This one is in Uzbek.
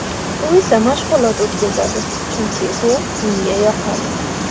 U esa mashg‘ulot o‘tkazadi, chunki bu unga yoqadi.